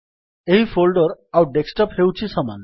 ଏହି ଫୋଲ୍ଡର୍ ଆଉ ଡେସ୍କଟପ୍ ହେଉଛି ସମାନ